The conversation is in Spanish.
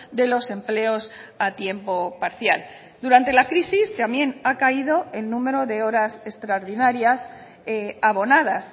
de los empleos a tiempo parcial durante la crisis también ha caído el número de horas extraordinarias abonadas